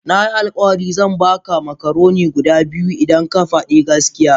Nayi alkawari zan baka macaroni guda biyu idan ka fadi gaskiya